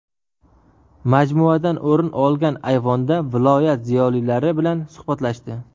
Majmuadan o‘rin olgan ayvonda viloyat ziyolilari bilan suhbatlashdi.